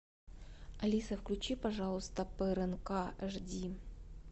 алиса включи пожалуйста по рнк жди